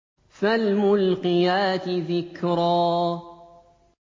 فَالْمُلْقِيَاتِ ذِكْرًا